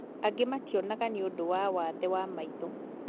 Angĩ mationaga niũndũ wa wathe wa maitho